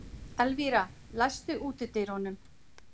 Elvira, læstu útidyrunum.